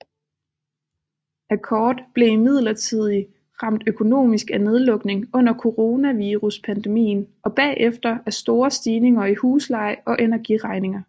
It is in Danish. Accord blev imidlertid ramt økonomisk af nedlukning under coronaviruspandemien og bagefter af store stigninger i husleje og energiregninger